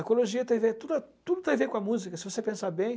Ecologia tem a ver, tudo tudo tem a ver com a música, se você pensar bem.